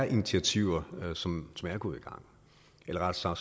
initiativer som er gået i gang eller rettere